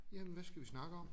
Jamen hvad skal vi snakke om?